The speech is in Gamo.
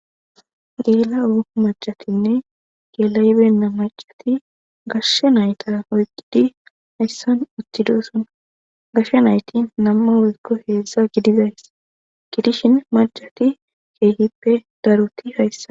geela7o macatinne gelaybenna macati gashshe nayta oyqqidi hayssan uthidosona gashshe nayti namma weykko heedzza gidizays gidishin macati keegippe daruti hayssa